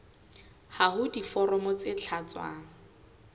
ha ho diforomo tse tlatswang